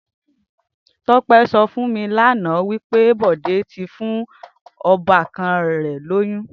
Tope sò fún mi lànã wipé Bode ti fún òbàkàn rè lóyùn